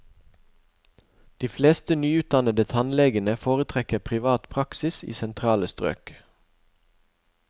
De fleste nyutdannede tannlegene foretrekker privat praksis i sentrale strøk.